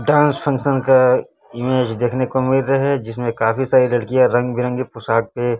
dance function का image देखने को मिल रहा है जिसमें काफी सारी लड़कियां रंग बिरंगे पोशाक पे--